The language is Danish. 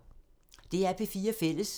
DR P4 Fælles